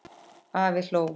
Afi hló.